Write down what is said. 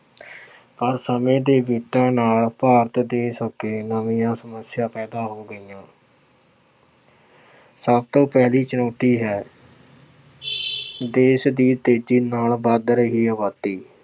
ਅੋਰ ਸਮੇਂ ਦੇ ਬੀਤਣ ਨਾਲ ਭਾਰਤ ਦੇਸ਼ ਅੱਗੇ ਨਵੀਆਂ ਸਮੱਸਿਆ ਪੈਦਾ ਹੋ ਗਈਆਂ ਸਭ ਤੋਂ ਪਹਿਲੀ ਚੁਣੌਤੀ ਹੈ ਦੇਸ਼ ਦੀ ਤੇਜ਼ੀ ਨਾਲ ਵੱਧ ਰਹੀ ਆਬਾਦੀ।